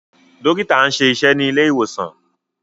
Dókítà nṣe iṣé ní ilé ìwòsàn.